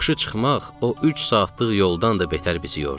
Yoxuşa çıxmaq o üç saatlıq yoldan da betər bizi yorurdu.